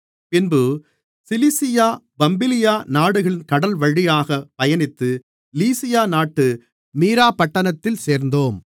பின்பு Cilicia Pamphylia நாடுகளின் கடல்வழியாக பயணித்து லீசியா நாட்டு மீறாப்பட்டணத்தில் சேர்ந்தோம்